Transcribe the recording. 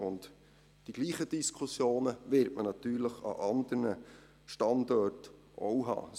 Und die gleichen Diskussionen wird man natürlich an anderen Standorten auch haben.